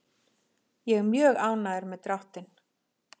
Ég er mjög ánægður með dráttinn.